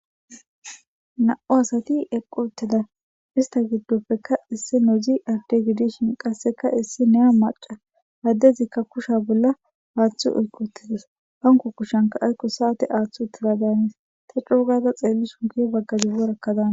Na'u asati eqqu utteda ista giddoppeka issi nodzi adde gidishin qasseka issi neya maca addezikka kusha bolla aaththu oyquttides hanko kushanka aykko saate aaththu uttila daanis ta cuugaza xeelli sunkiyo baggadibbo rakkadaana.